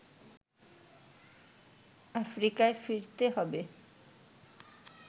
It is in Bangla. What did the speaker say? আফ্রিকায় ফিরতে হবে